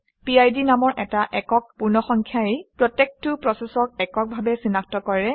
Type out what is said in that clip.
পিড নামৰ এটা একক পূৰ্ণসংখ্যাই প্ৰত্যেকটো প্ৰচেচক এককভাৱে চিনাক্ত কৰে